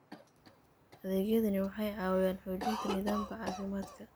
Adeegyadani waxay caawiyaan xoojinta nidaamka caafimaadka.